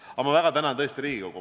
Aga ma tõesti väga tänan Riigikogu.